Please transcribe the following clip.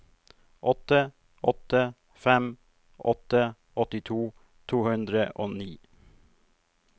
åtte åtte fem åtte åttito to hundre og ni